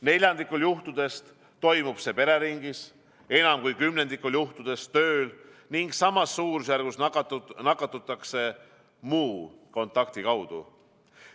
Neljandikul juhtudest toimub see pereringis, enam kui kümnendikul juhtudest tööl ning samas suurusjärgus nakatutakse muu kontakti kaudu.